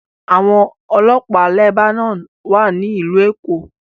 Àwọn ọlọ́pàá Lebanon wà ní Ìlú Èkó